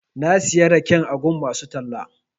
Na siya raken a gun masu talla.